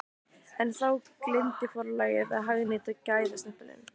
En þá gleymdi forlagið að hagnýta gæðastimpilinn!